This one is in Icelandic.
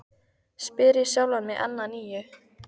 spyr ég sjálfan mig enn að nýju.